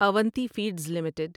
Avanti feeds limited